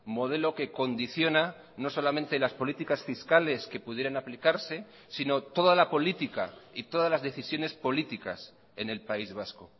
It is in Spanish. modelo que condiciona no solamente las políticas fiscales que pudieran aplicarse sino toda la política y todas las decisiones políticas en el país vasco